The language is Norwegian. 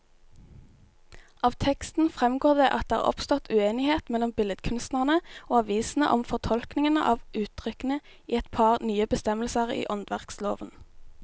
Av teksten fremgår det at det er oppstått uenighet mellom billedkunstnerne og avisene om fortolkningen av uttrykkene i et par nye bestemmelser i åndsverkloven.